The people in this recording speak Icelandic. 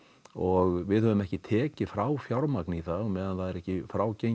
og við höfum ekki tekið frá fjármagn í það á meðan það er ekki frágengið